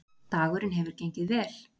Dagurinn hefur gengið vel